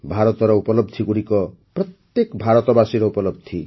ଭାରତର ଉପଲବଧିଗୁଡ଼ିକ ପ୍ରତ୍ୟେକ ଭାରତବାସୀର ଉପଲବଧି